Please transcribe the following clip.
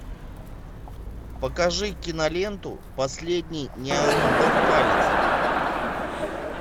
покажи киноленту последний неандерталец